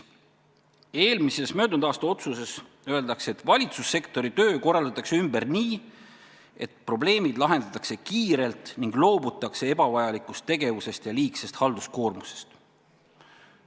Möödunud aasta otsuses öeldakse, et valitsussektori töö korraldatakse ümber nii, et probleemid lahendatakse kiirelt ning loobutakse ebavajalikust tegevusest ja liigsest halduskoormusest.